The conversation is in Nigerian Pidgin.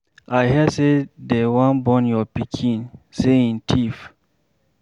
I hear say dey wan burn your pikin, sey him thief.